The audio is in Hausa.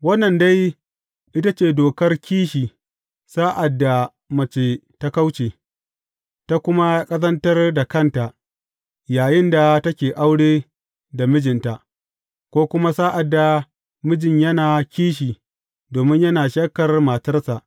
Wannan dai, ita ce dokar kishi sa’ad da mace ta kauce, ta kuma ƙazantar da kanta yayinda take aure da mijinta, ko kuma sa’ad da mijin yana kishi domin yana shakkar matarsa.